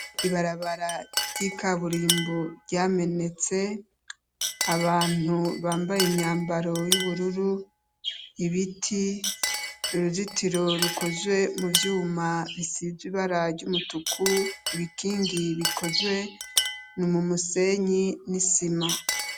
Ibarabara ry'ika burimbu ryamenetse abantu bambaye imyambaro y'ubururu ibiti uruzitiro rukozwe mu vyuma bisizw ibara ry'umutuku ibikingi bikozwe ni umumusenyi n'isima.